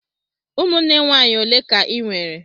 Ụmụnne nwaanyị ole ka ị nwere?